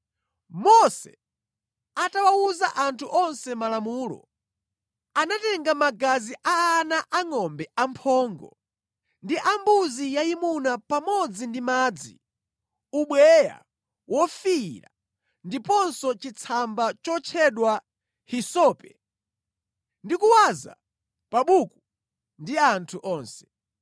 Mose atawawuza anthu onse malamulo, anatenga magazi a ana angʼombe amphongo ndi ambuzi yayimuna pamodzi ndi madzi, ubweya wofiira ndiponso chitsamba chotchedwa hisope, ndi kuwaza pa buku ndi anthu onse.